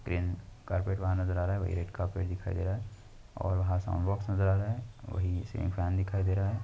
Carpet वहाँ नज़र आ रहा है वही रेड्कार्पेट दिखाई दे रहा है और वहा साउंड-बॉक्स नजर आ रहा है वही से फेन दिखाई दे रहे है।